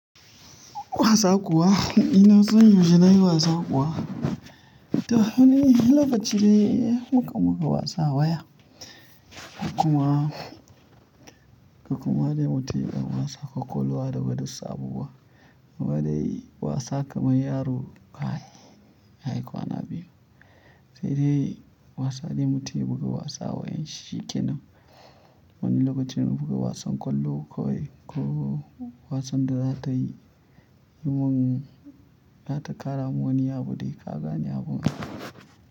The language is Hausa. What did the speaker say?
Wasa kuwa ina son yanzu na yi wasa kuwa. Ta wani lokaci ne mukan buga wasa waya. Kuma, kuma dai mu taya wasa kwakwalwa da gwadatsa abubuwa. Gwada yi wasa kamar yaro. Ai, ai kwana biyu. Sai dai wasa dai mu tayi buga wasa wayen shikenan. Wani lokacin mu buga wasan kwallo kawai ko wasan da za kai yi mun, za ta ƙara mun wani abu dai ka gane abun.